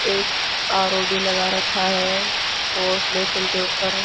एक आर_ओ भी लगा रखा है वॉश बेसिन के ऊपर--